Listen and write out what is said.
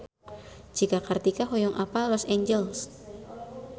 Cika Kartika hoyong apal Los Angeles